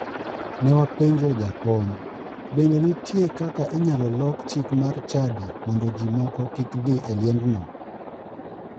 Ne wapenjo jakom" bende nitie kaka inyalo lok chik mar chadi mondo ji moko kik dhi e liendno''?